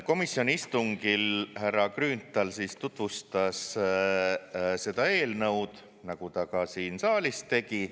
Komisjoni istungil härra Grünthal tutvustas seda eelnõu, nagu ta ka siin saalis tegi.